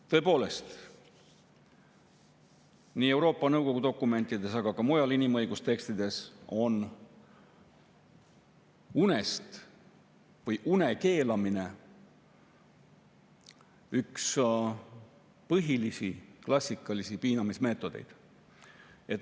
Tõepoolest, nii Euroopa Nõukogu dokumentides kui ka mujal inimõigustekstides on une keelamine üks põhilisi klassikalisi piinamismeetodeid.